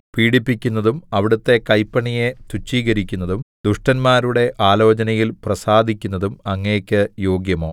പീഡിപ്പിക്കുന്നതും അവിടുത്തെ കൈപ്പണിയെ തുച്ഛീകരിക്കുന്നതും ദുഷ്ടന്മാരുടെ ആലോചനയിൽ പ്രസാദിക്കുന്നതും അങ്ങയ്ക്ക് യോഗ്യമോ